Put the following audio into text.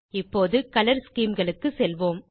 இப்போது colour scheme களுக்கு செல்வோம்